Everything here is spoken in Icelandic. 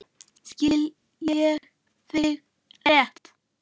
Skil ég þig rétt?